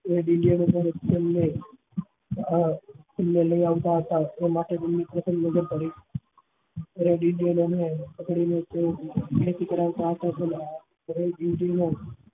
એ એમને એમને લઇ આવતા હતા પર જ તેમને